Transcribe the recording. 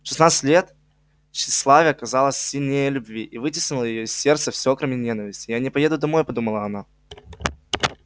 в шестнадцать лет тщеславие оказалось сильнее любви и вытеснило из её сердца все кроме ненависти я не поеду домой подумала она